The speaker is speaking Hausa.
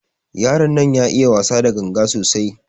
Yaron nan ya iya wasa da ganga sosai.